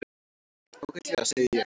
Ágætlega, segi ég.